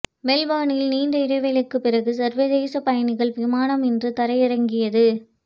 மெல்பேர்னில் நீண்ட இடைவெளிக்குப் பிறகு சர்வதேச பயணிகள் விமானம் இன்று தரையிறங்கியது